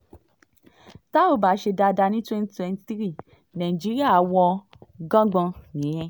tá ò bá ṣe dáadáa ní twenty twenty three nàìjíríà wọ́ngangbọ̀n nìyẹn